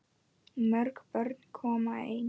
Mörg börn koma ein.